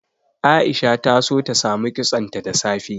Aisha ta so ta samu kitsonta da safe.